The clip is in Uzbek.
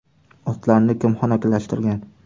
Otlarni kim xonakilashtirgan?